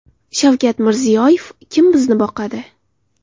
Shavkat Mirziyoyev: Kim bizni boqadi?